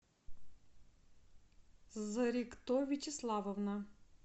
зорикто вячеславовна